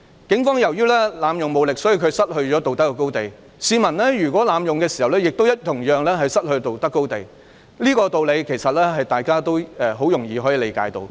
警方由於濫用武力，所以失去了道德高地，如果市民濫用武力，同樣也會失去道德高地，這是大家易於理解的道理。